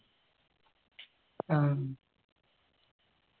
ആ ഉം